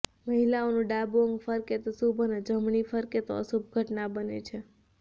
મહિલાઓનું ડાબુ અંગ ફરકે તો શુભ અને જમણી ફરકે તો અશુભ ઘટના બને છે